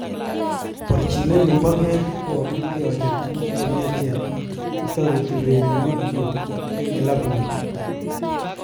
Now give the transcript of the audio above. Borchinenyun'boge ko okilge ocher tuguk chemiachen chetoreti urerenik kyuk eng kilabut ni.